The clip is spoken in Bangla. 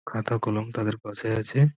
খাতা কলম তাদের পাশে আছে।